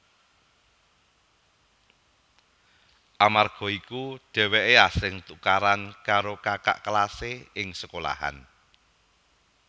Amarga iku dheweke asring tukaran karo kakak kelase ing sekolahan